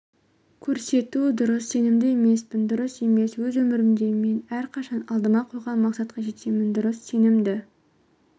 көрсету дұрыс сенімді емеспін дұрыс емес өз өмірімде мен әрқашан алдыма қойған мақсатқа жетемін дұрыс сенімді